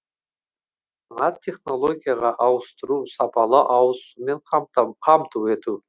жаңа технологияға ауыстыру сапалы ауызсумен қамту қажет